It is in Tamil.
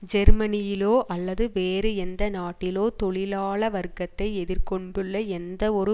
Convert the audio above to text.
ஜேர்மனியிலோ அல்லது வேறு எந்த நாட்டிலோ தொழிலாள வர்க்கத்தை எதிர் கொண்டுள்ள எந்த ஒரு